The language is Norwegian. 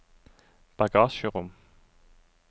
bagasjerom